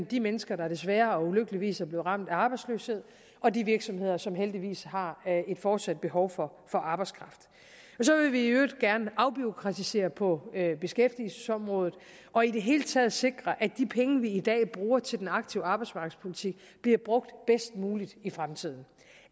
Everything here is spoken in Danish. de mennesker der desværre og ulykkeligvis er blevet ramt af arbejdsløshed og de virksomheder som heldigvis har et fortsat behov for arbejdskraft og så vil vi i øvrigt gerne afbureaukratisere på beskæftigelsesområdet og i det hele taget sikre at de penge vi i dag bruger til den aktive arbejdsmarkedspolitik bliver brugt bedst mulig i fremtiden